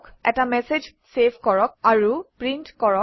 এটা message save কৰক আৰু প্ৰিণ্ট কৰক